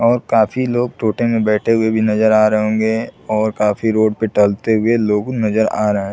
और काफी लोग टोटे में बैठे हुए भी नजर आ रहै होंगे और काफी रोड पर टहलते हुए लोग नजर आ रहा है।